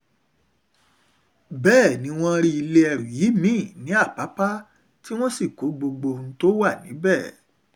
bẹ́ẹ̀ ni wọ́n rí ilé ẹrú yìí mí-ín ní àpàpà tí wọ́n sì kó gbogbo ohun tó wà níbẹ̀